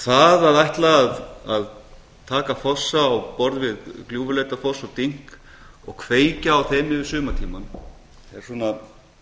það að ætla að taka fossa á borð við gljúfurleitarfoss og dynk og kveikja á þeim yfir sumartímann er svona